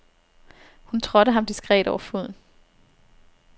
Hun trådte ham diskret over foden.